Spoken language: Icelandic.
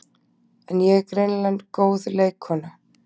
En ég er greinilega góð leikkona